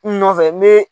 Kun nɔfɛ n be